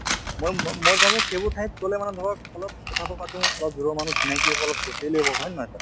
মই মই মই ভাবো সেইবোৰ ঠাইত গʼলে মানে ধৰক অলপ কথাতো পাতো অলপ দূৰৰ মানুহ চিনাকি হʼব অলপ socially হʼব হয় নে নহয়, sir?